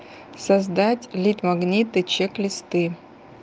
создать лид магниты чек листы